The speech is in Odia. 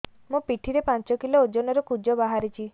ମୋ ପିଠି ରେ ପାଞ୍ଚ କିଲୋ ଓଜନ ର କୁଜ ବାହାରିଛି